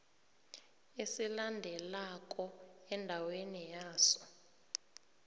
esilandelako endaweni yaso